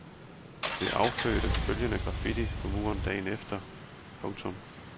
Det affødte følgende graffiti på muren dagen efter. punktum